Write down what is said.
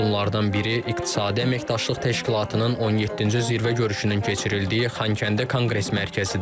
Bunlardan biri İqtisadi Əməkdaşlıq Təşkilatının 17-ci zirvə görüşünün keçirildiyi Xankəndi Konqres mərkəzidir.